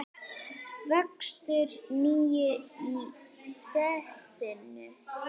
Vöxtur nú í sefinu.